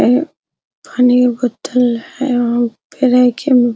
है पानी के बोतल है वहाँ उ पे रखे --